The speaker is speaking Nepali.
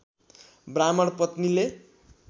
ब्राह्मण पत्नीले